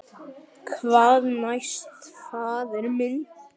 Hvað næst, faðir minn?